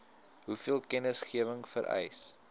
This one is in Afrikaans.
hoeveel kennisgewing vereis